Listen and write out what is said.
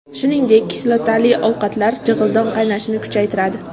Shuningdek, kislotali ovqatlar jig‘ildon qaynashini kuchaytiradi.